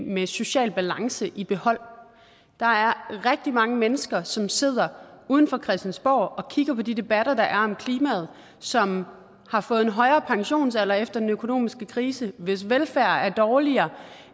med social balance i behold der er rigtig mange mennesker som sidder uden for christiansborg og kigger på de debatter der er om klimaet som har fået en højere pensionsalder efter den økonomiske krise hvis velfærd er dårligere